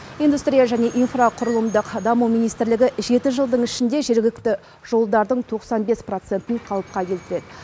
индустрия және инфрақұрылымдық даму министрлігі жеті жылдың ішінде жергілікті жолдардың тоқсан бес процентін қалыпқа келтіреді